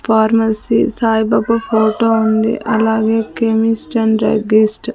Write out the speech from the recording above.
pharmacy Saibaba photo ఉంది అలాగే chemist and druggist --